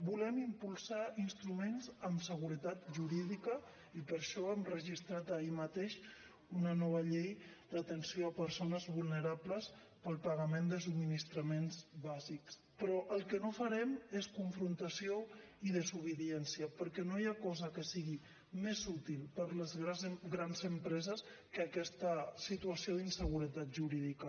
volem impulsar instruments amb seguretat jurídica i per això vam registrar ahir mateix una nova llei d’atenció a persones vulnerables per al pagament de subministraments bàsics però el que no farem és confrontació i desobediència perquè no hi ha cosa que sigui més útil per a les grans empreses que aquesta situació d’inseguretat jurídica